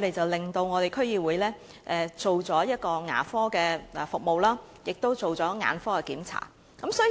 們促使了區議會提供牙科及眼科檢查服務。